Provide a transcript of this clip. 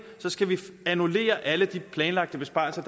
så skal vi annullere alle de planlagte besparelser